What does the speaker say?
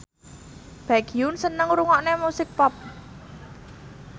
Baekhyun seneng ngrungokne musik pop